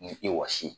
Ni i wasi